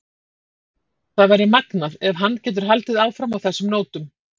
Það væri magnað ef hann getur haldið áfram á þessum nótum.